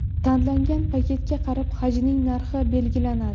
Tanlangan paketga qarab, hajning narxi belgilanadi.